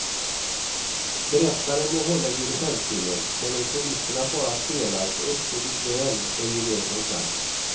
Berättaren må hålla i dirigentpinnen, men om solisterna bara spelar så uppstår likväl en gemensam klang.